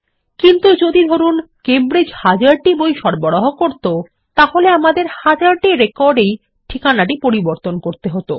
এবং যদি ধরুন কেমব্রিজ হাজারটি বই সরবরাহ করতো তাহলে আমাদের হাজারটি রেকর্ডে ঠিকানা পরিবর্তন করতে হত